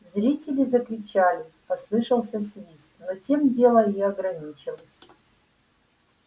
зрители закричали послышался свист но тем дело и ограничилось